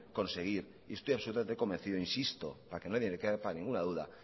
conseguir y estoy absolutamente convencido insisto para que nada le quepa ninguna duda